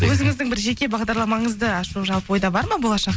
өзіңіздің бір жеке бағдарламаңызды ашу жалпы ойда бар ма болашақ